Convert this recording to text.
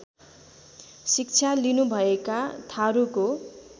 शिक्षा लिनुभएका थारूको